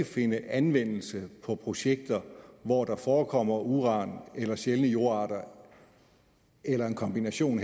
finde anvendelse på projekter hvor der forekommer uran eller sjældne jordarter eller en kombination